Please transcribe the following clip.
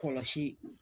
Kɔlɔsi